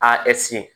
A